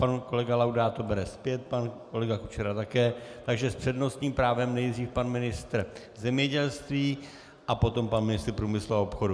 Pan kolega Laudát to bere zpět, pan kolega Kučera také, takže s přednostním právem nejdříve pan ministr zemědělství a potom pan ministr průmyslu a obchodu.